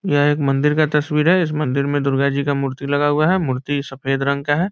यह एक मंदिर का तस्वीर है इस मंदिर में दुर्गा जी का मूर्ति लगा हुआ है मूर्ति सफेद रंग का है।